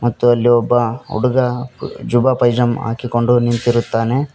ಮತ್ತು ಅಲ್ಲಿ ಒಬ್ಬ ಹುಡುಗ ಜುಬ್ಬ ಪೈಜಾಮ ಹಾಕಿಕೊಂಡು ನಿಂತಿರುತ್ತಾನೆ.